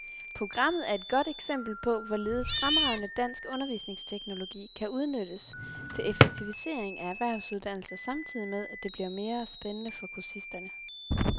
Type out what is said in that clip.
Programmet er et godt eksempel på, hvorledes fremragende dansk undervisningsteknologi kan udnyttes til effektivisering af erhvervsuddannelser samtidig med, at det bliver mere spændende for kursisterne.